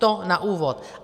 To na úvod.